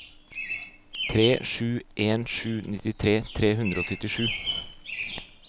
tre sju en sju nittitre tre hundre og syttisju